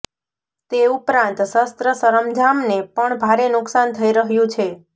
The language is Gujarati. તે ઉપરાંત શસ્ત્રસરંજામને પણ ભારે નુકસાન થઈ રહ્યું છે